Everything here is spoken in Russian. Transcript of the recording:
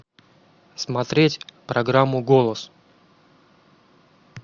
смотреть программу голос